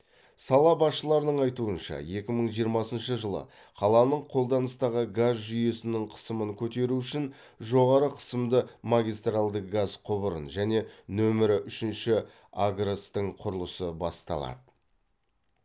сала басшыларының айтуынша екі мың жиырмасыншы жылы қаланың қолданыстағы газ жүйесінің қысымын көтеру үшін жоғары қысымды магистралды газ құбырын және нөмірі үшінші агрс тың құрылысы басталады